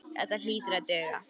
Þetta hlýtur að duga.